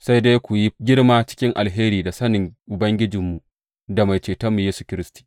Sai dai ku yi girma cikin alheri da sanin Ubangijinmu da Mai Cetonmu Yesu Kiristi.